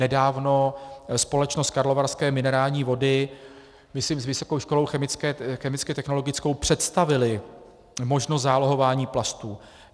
Nedávno společnost Karlovarské minerální vody, myslím s Vysokou školou chemicko-technologickou, představila možnost zálohování plastů.